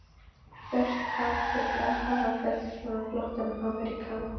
vert afrek, að hafa fellt svona flottan Ameríkana.